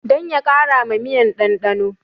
Dan ya kara ma miyan ɗanɗano